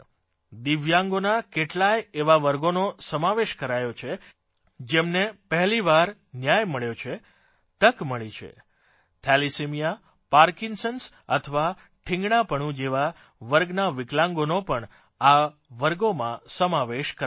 દિવ્યાંગોના કેટલાય એવા વર્ગોનો સમાવેશ કરાયો છે જેમને પહેલી વાર ન્યાય મળ્યો છે તક મળી છે થેલેસેમિયા પાર્કિન્સન્સ અથવા ઠીંગણાપણું જેવા વર્ગના વિકલાંગોનો પણ આ વર્ગોમાં સમાવેશ કરાયો છે